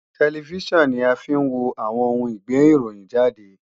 Tẹlifíṣàn ni a fi ń wo àwọn oun ìgbéròhìnjàde